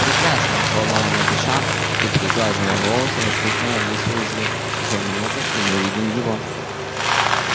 прекрасно взволнованно дыша и приглаживая волосы воскликнула мисс уизли ещё минута и мы увидим его